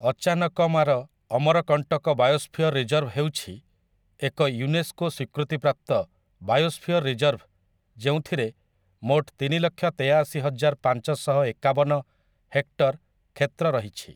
Achanakmar Amarkantak biosphere reserve ହେଉଛି ଏକ UNESCO ସ୍ୱୀକୃତିପ୍ରାପ୍ତ ବାୟୋସ୍ଫିୟର ରିଜର୍ଭ ଯେଉଁଥିରେ ମୋଟ ତିନିଲକ୍ଷ ତେୟାଅଶୀ ହଜାର ପାଞ୍ଚଶହ ଏକାବନ ହେକ୍ଟର କ୍ଷେତ୍ର ରହିଛି ।